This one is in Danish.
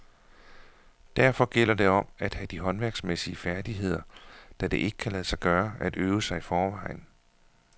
Derfor gælder det om at have de håndværksmæssige færdigheder, da det ikke kan lade sig gøre at øve sig i forvejen.